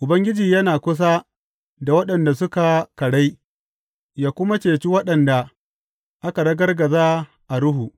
Ubangiji yana kusa da waɗanda suka karai ya kuma cece waɗanda aka ragargaza a ruhu.